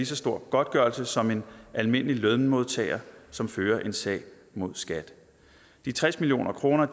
så stor godtgørelse som en almindelig lønmodtager som fører en sag mod skat de tres million kroner